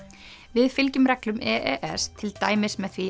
við fylgjum reglum e s til dæmis með því